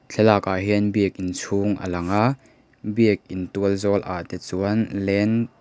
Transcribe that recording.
thlalak ah hian biakin chhung a lang a biakin tualzawl ah te chuan lane .